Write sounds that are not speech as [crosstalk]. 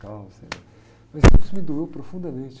[unintelligible] Mas isso me doou profundamente.